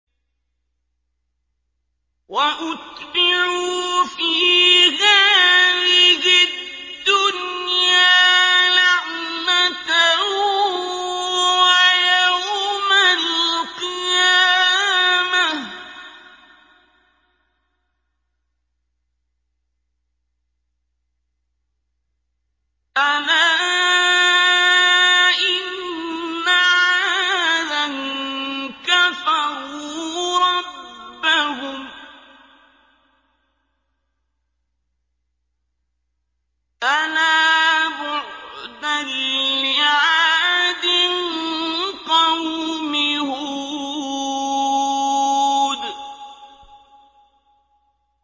وَأُتْبِعُوا فِي هَٰذِهِ الدُّنْيَا لَعْنَةً وَيَوْمَ الْقِيَامَةِ ۗ أَلَا إِنَّ عَادًا كَفَرُوا رَبَّهُمْ ۗ أَلَا بُعْدًا لِّعَادٍ قَوْمِ هُودٍ